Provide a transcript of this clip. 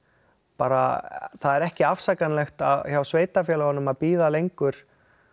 bara það er ekki afsakanlegt hjá sveitarfélögunum að bíða lengur